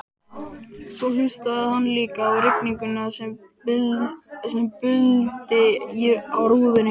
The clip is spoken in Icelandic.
Svo hlustaði hann líka á rigninguna sem buldi á rúðunni.